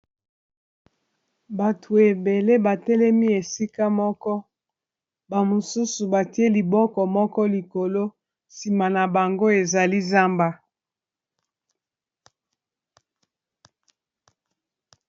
Bato ebele ba telemi esika moko, ba mosusu batie liboko moko likolo. Sima na bango, ezali zamba.